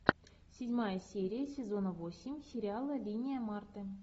седьмая серия сезона восемь сериала линия марты